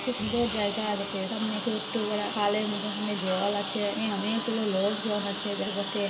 খুব সুন্দর জায়গা বটে সামনে ছোট্ট পারা খালের মতো সেখানে জল আছে অনেকগুলো লোকজন আছে বটে।